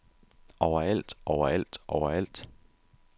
overalt overalt overalt